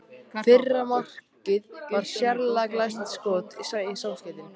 Fyrra markið var sérlega glæsilegt skot í samskeytin.